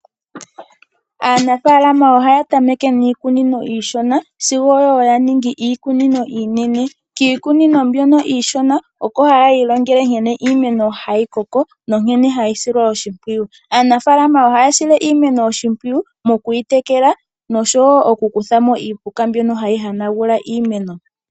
Aanafaalama ohaya tameke niikunino iishona sigo ya ningi iikunino iinene, kiikunino mbyono iishona oko haya ilongele nkene iimeno hayi koko, nonkene hayi silwa oshimpwiyu. Aanafaalama ohaya sile iimeno oshimpwiyu moku yi tekela noshowo oku kutha mo iipuka mbyono hayi hanagula iimeno.